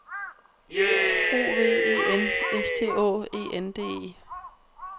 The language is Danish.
O V E N S T Å E N D E